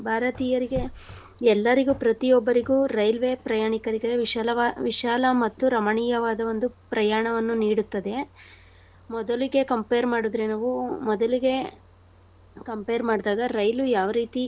ಭಾರತೀಯರಿಗೆ ಎಲ್ಲರಿಗೂ ಪ್ರತಿಯೊಬ್ಬರಿಗೂ ರೈಲ್ವೇ ಪ್ರಯಾಣಿಕರಿಗೆ ವಿಶಲವಾ~ ವಿಶಾಲ ಮತ್ತು ರಮಣೀಯವಾದ ಒಂದು ಪ್ರಯಾಣವನ್ನು ನೀಡುತ್ತದೆ. ಮೊದಲಿಗೆ compare ಮಾಡುದ್ರೆ ನಾವೂ ಮೊದಲಿಗೆ compare ಮಾಡ್ದಾಗ ರೈಲು ಯಾವ ರೀತಿ.